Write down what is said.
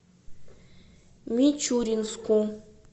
мичуринску